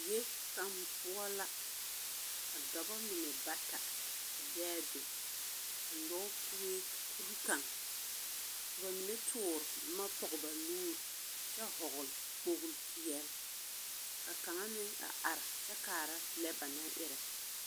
Die kaŋ poͻ la, ka dͻbͻ mine bata a be a be, a nyͻge kue kuri kaŋ. Ka ba mine toore boma pͻge ba nuuri kyԑ vͻgele kpooli peԑle, ka kaŋa meŋ a are kyԑ kaara lԑ ba naŋ erԑ.